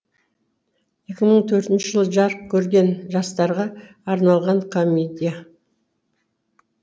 екі мың төртінші жылы жарық көрген жастарға арналған комедия